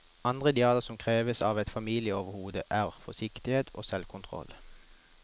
Andre idealer som kreves av et familieoverhode er forsiktighet og selvkontroll.